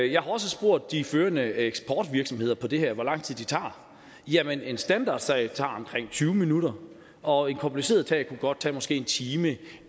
jeg har også spurgt de førende eksportvirksomheder på det her område hvor lang tid de tager jamen en standardsag tager omkring tyve minutter og en kompliceret sag kunne godt tage måske en time